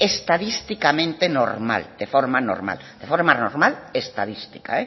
estadísticamente normal de forma normal estadística